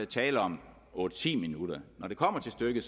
tale om otte ti minutter når det kommer til stykket